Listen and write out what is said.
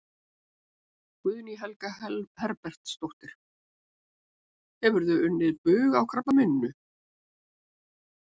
Guðný Helga Herbertsdóttir: Hefur þú unnið bug á krabbameininu?